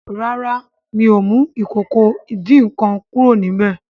ràrá mio mú Ìkòkò ìdín-nǹkan kúrò níbẹ.